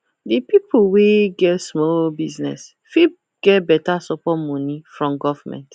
the pipo wey get small business fit get better support moni from government